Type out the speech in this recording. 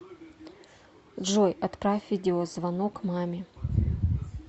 джой отправь видеозвонок маме